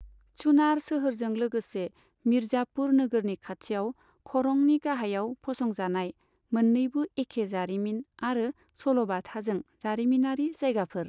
चुनार सोहोरजों लोगोसे, मिरजापुर नोगोरनि खाथियाव खरंनि गाहाइयाव फसंजानाय, मोन्नैबो एखे जारिमिन आरो सल'बाथाजों जारिमिनारि जायगाफोर।